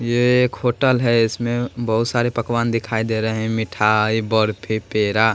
ये एक होटल हैं इसमें बहुत सारे पकवान दिखाई दे रहे हैं मिठाई बर्फी पेरा ।